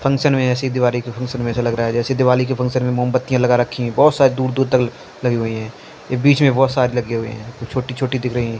Function में ऐसी दिवाली के फंक्शन में से लग रहा है जैसे दिवाली के फंक्शन में मोमबत्तियां लगा रखी है बहोत सारी दूर दूर तक लगी हुई हैं ये बीच में बहोत सारी लगी हुई हैं छोटी छोटी दिख रही है।